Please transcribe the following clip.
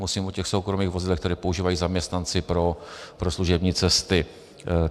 Mluvím o těch soukromých vozidlech, která používají zaměstnanci pro služební cesty.